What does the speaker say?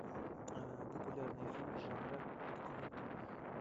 популярные фильмы жанра документальный